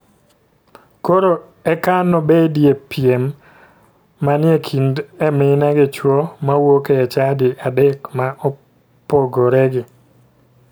Koro eka nobedie piem manie kind e mine gi chuo ma wuok e chadi adek ma opogoregi.